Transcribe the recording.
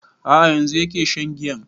A'a yanzu yake shan giyan